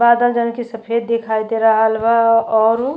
बादल जउन की सफ़ेद दिखाई दे रहल बा आ औरु --